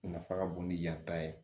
Nafa ka bon ni yan ta ye